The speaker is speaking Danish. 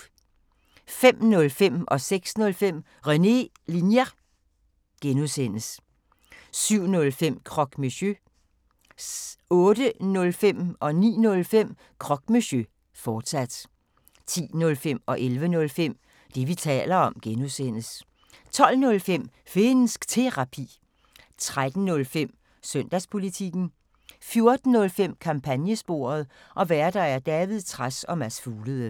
05:05: René Linjer (G) 06:05: René Linjer (G) 07:05: Croque Monsieur 08:05: Croque Monsieur, fortsat 09:05: Croque Monsieur, fortsat 10:05: Det, vi taler om (G) 11:05: Det, vi taler om (G) 12:05: Finnsk Terapi 13:05: Søndagspolitikken 14:05: Kampagnesporet: Værter: David Trads og Mads Fuglede